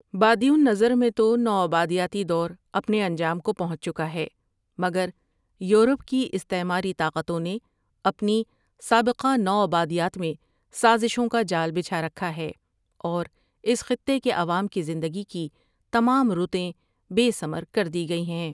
بادی النظر میں تو نو آبادیاتی دور اپنے انجام کو پہنچ چکا ہے مگر یورپ کی استعماری طاقتوں نے اپنی سابقہ نو آبادیات میں سازشوں کا جال بچھا رکھا ہے اور اس خطے کے عوام کی زندگی کی تمام رُتیں بے ثمر کر دی گئی ہیں ۔